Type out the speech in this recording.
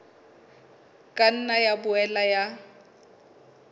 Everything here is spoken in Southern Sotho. ka nna ya boela ya